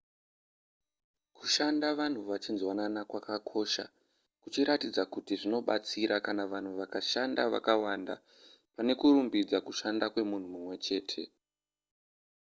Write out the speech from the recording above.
kushanda vanhu vachinzwanana kwakakosha kuchiratidza kuti zvinobatsira kana vanhu vakashanda vakawanda pane kurumbidza kushanda kwemunhu mumwe chete